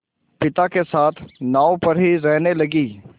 पिता के साथ नाव पर ही रहने लगी